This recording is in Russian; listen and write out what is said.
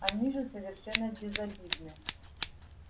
они же совершенно безобидны